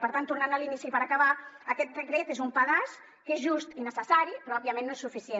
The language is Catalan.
per tant tornant a l’inici per acabar aquest decret és un pedaç que és just i necessari però òbviament no és suficient